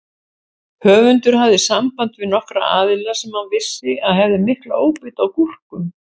Höfundur hafði samband við nokkra aðila sem hann vissi að hefðu mikla óbeit á gúrkum.